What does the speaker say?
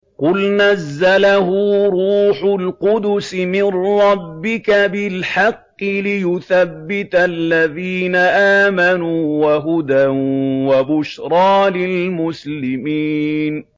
قُلْ نَزَّلَهُ رُوحُ الْقُدُسِ مِن رَّبِّكَ بِالْحَقِّ لِيُثَبِّتَ الَّذِينَ آمَنُوا وَهُدًى وَبُشْرَىٰ لِلْمُسْلِمِينَ